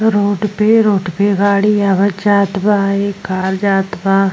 Road पे road पे गाड़ी आवत जात बा। इ कहाँ जात बा।